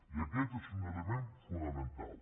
i aquest és un element fonamental